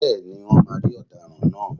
Bẹ́ẹ̀ni, Wọ́n máa rí Ọ̀daràn náà.